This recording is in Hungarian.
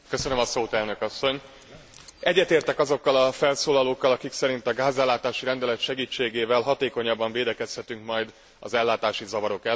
Egyetértek azokkal a felszólalókkal, akik szerint a gázellátási rendelet segítségével hatékonyabban védekezhetünk majd az ellátási zavarok ellen, és ezért köszönet a raportőrnek.